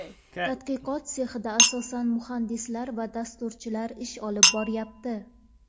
Tadqiqot sexida asosan muhandislar va dasturchilar ish olib boryapti.